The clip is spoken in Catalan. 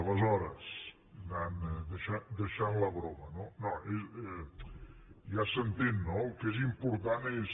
aleshores deixant la broma no ja s’entén no el que és important és